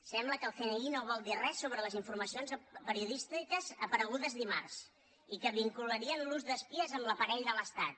sembla que el cni no vol dir res sobre les informacions periodístiques aparegudes dimarts i que vincularien l’ús d’espies amb l’aparell de l’estat